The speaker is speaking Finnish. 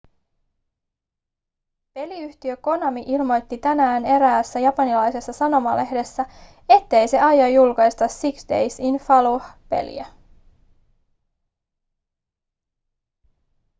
peliyhtiö konami ilmoitti tänään eräässä japanilaisessa sanomalehdessä ettei se aio julkaista six days in fallujah peliä